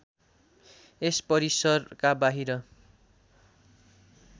यस परिसरका बाहिर